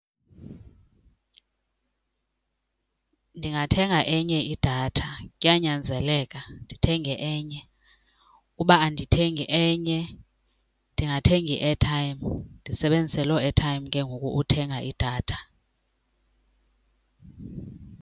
Ndingathenga enye idatha kuyanyanzeleka ndithenge enye. Uba andithengi enye ndingathenga i-airtime ndisebenzise loo airtime ke ngoku uthenga idatha.